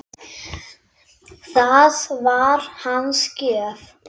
Það var hans gjöf.